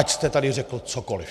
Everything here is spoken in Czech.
Ať jste tady řekl cokoliv.